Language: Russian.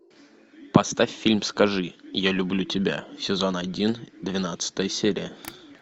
поставь фильм скажи я люблю тебя сезон один двенадцатая серия